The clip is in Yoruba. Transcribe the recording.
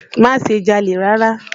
Má ṣe jalè rárá!